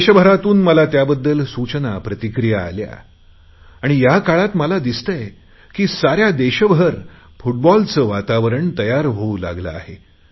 देशभरातून मला त्याबद्दल सूचना प्रतिक्रिया आल्या आणि या काळात मला दिसतेय की साऱ्या देशभरात फूटबॉलचे वातावरण तयार होऊ लागले आहे